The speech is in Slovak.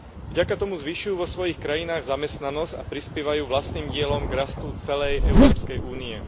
Vďaka tomu zvyšujú vo svojich krajinách zamestnanosť a prispievajú vlastným dielom k rastu celej Európskej únie.